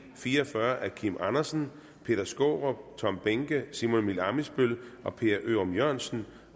fire og fyrre af kim andersen peter skaarup tom behnke simon emil ammitzbøll og per ørum jørgensen